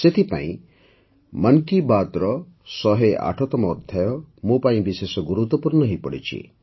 ସେଥିପାଇଁ ମନ୍ କି ବାତ୍ର ୧୦୮ତମ ଅଧ୍ୟାୟ ମୋ ପାଇଁ ବିଶେଷ ଗୁରତ୍ୱପୂର୍ଣ୍ଣ ହୋଇପଡ଼ିଛି